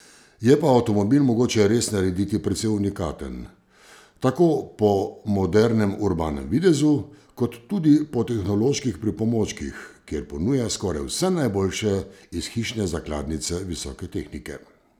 Je pa avtomobil mogoče res narediti precej unikaten, tako po modernem urbanem videzu kot tudi po tehnoloških pripomočkih, kjer ponuja skoraj vse najboljše iz hišne zakladnice visoke tehnike.